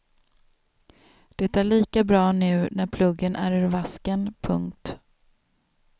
Det är lika bra nu när pluggen är ur vasken. punkt